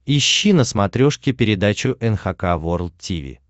ищи на смотрешке передачу эн эйч кей волд ти ви